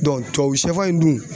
tubabu sɛfan in dun